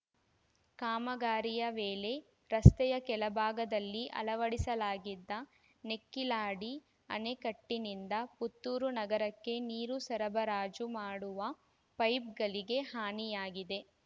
ಕಾಮಗಾರಿಯ ವೇಳೆ ರಸ್ತೆಯ ಕೆಳಭಾಗದಲ್ಲಿ ಅಳವಡಿಸಲಾಗಿದ್ದ ನೆಕ್ಕಿಲಾಡಿ ಅಣೆಕಟ್ಟಿನಿಂದ ಪುತ್ತೂರು ನಗರಕ್ಕೆ ನೀರು ಸರಬರಾಜು ಮಾಡುವ ಪೈಪ್‌ಗಳಿಗೆ ಹಾನಿಯಾಗಿದೆ